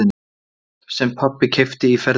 Sem pabbi keypti í ferðinni.